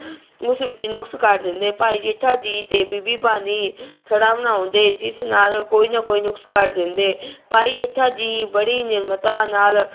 ਉਸ ਵਿੱਚ ਨੁਕਸ ਕੱਢ ਦਿੰਦੇ, ਭਾਈ ਜੇਠਾ ਜੀ ਤੇ ਬੀਬੀ ਭਾਨੀ ਥੜਾ ਬਣਾਉਂਦੇ ਜਿਸ ਨਾਲ ਕੋਈ ਨਾ ਕੋਈ ਨੁਕਸ ਕੱਢ ਦਿੰਦੇ ਭਾਈ ਜੇਠਾ ਜੀ ਬੜੀ ਨਿਰਮਤਾ ਨਾਲ